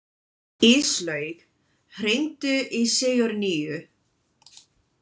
Íslaug, hringdu í Sigurnýju.